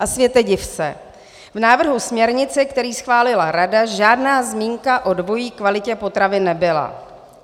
A světe, div se, v návrhu směrnice, který schválila Rada, žádná zmínka o dvojí kvalitě potravin nebyla.